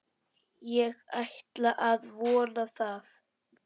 Ég ætla að vona það.